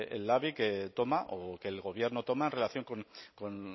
el labi toma o que el gobierno toma en relación con